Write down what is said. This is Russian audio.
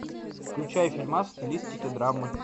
включай фильмас в стилистике драмы